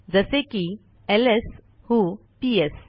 जसे की एलएस व्हो पीएस